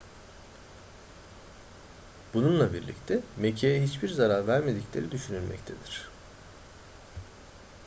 bununla birlikte mekiğe hiçbir zarar vermedikleri düşünülmektedir